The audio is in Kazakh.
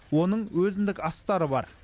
оның өзіндік астары бар